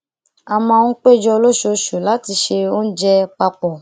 a máa ń péjọ lóṣooṣù láti se oúnjẹ papọ